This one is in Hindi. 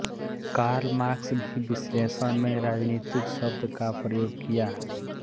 कार्ल मार्क्स भी विश्लेषण में राजनीतिक शब्द का प्रयोग किया